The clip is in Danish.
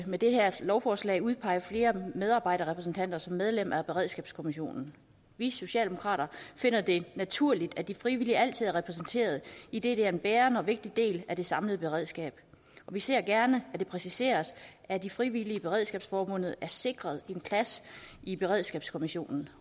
med det her lovforslag at udpege flere medarbejderrepræsentanter som medlemmer af beredskabskommissionerne vi socialdemokrater finder det naturligt at de frivillige altid er repræsenteret idet de er en bærende og vigtig del af det samlede beredskab og vi ser gerne at det præciseres at de frivillige i beredskabsforbundet er sikret en plads i beredskabskommissionerne